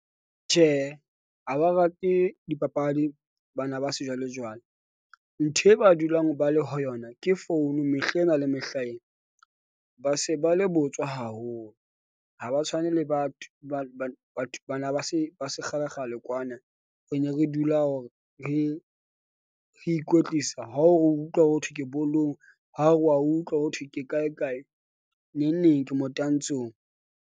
Tjhehe, ha ba rate dipapadi, bana ba sejwalejwale, ntho e ba dulang ba le ho yona ke founu mehlena le mehlaena. Ba se ba le botswa haholo. Ha ba tshwane le batho bana ba batho bana ba se ba se kgalekgale kwana. Re ne re dula hore re ikwetlisa ha o re o utlwa hothwe ke bolong, ha o re wa utlwa ho thwe. Ke kae kae neng neng ke motantshong.